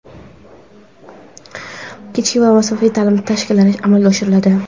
kechki va masofaviy ta’lim shakllariga amalga oshiriladi.